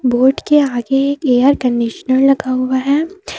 Board के आगे एक एयर कंडीशनर लगा हुआ है।